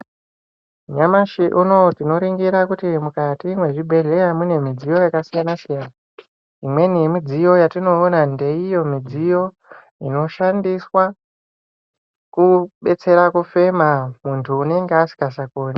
Nyamashi unoyu tinoringira kuti mukati mwezvibhedhleya mune midziyo yakasiyana siyana. Imweni yemidziyo yatinoona ndeiyo midziyo inoshandiswa kubetsera kufema muntu unenge asikachakoni.